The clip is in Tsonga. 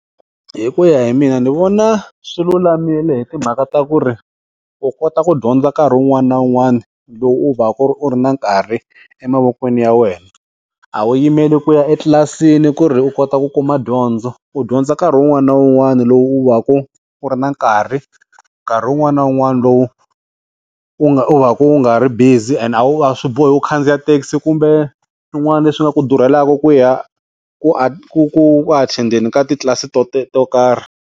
Hi ku ya hi mina ni vona swi lulamile hi timhaka ta ku ri u kota ku dyondza nkarhi wun'wana na wun'wana lowu u va ka u ri na nkarhi emavokweni ya wena, a wu yimele ku ya etlilasini ku ri u kota ku kuma dyondzo, u dyondza nkarhi wun'wana na wun'wana lowu u va ku u ri na nkarhi nkarhi wun'wana na wun'wana lowu u nga u va u nga ri busy and a wu a swi bohi u khandziya thekisi kumbe swin'wana leswi nga ku durheliwanga ku ya ku ku athendeni ka titlilasi to karhi.